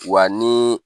Wa ni